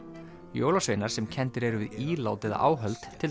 jólasveinar sem kenndir eru við ílát eða áhöld til